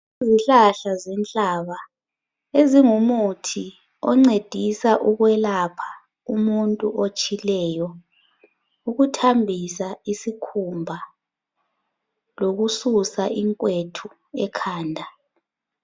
Izihlahla zenhlaba ezingumuthi oncedisa ukwelapha umuntu otshileyo, ukuthambisa isikhumba lokususa inkwethu ekhanda